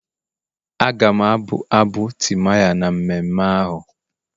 Aga m abụ abụ timaya na mmemme ahụ.